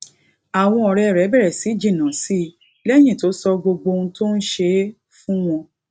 àwọn òré rè bèrè sí jìnnà si léyìn tó sọ gbogbo ohun tó ń ṣe fún wọn